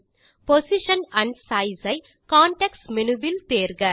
position and size ஐ context menu வில் தேர்க